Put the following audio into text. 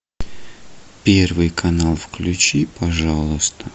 первый канал включи пожалуйста